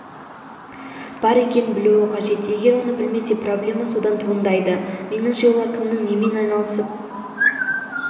бар екенін білуі қажет егер оны білмесе проблема содан туындайды меніңше олар кімнің немен айналысып